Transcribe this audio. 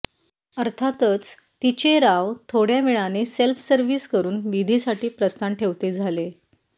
अर्थातच तिचे राव थोड्या वेळाने सेल्फसर्विस करून विधीसाठी प्रस्थान ठेवते झाले